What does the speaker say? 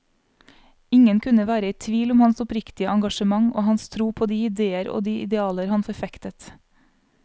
Ingen kunne være i tvil om hans oppriktige engasjement og hans tro på de idéer og de idealer han forfektet.